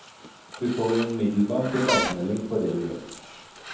Du får umiddelbar tilbakemelding på det du gjør.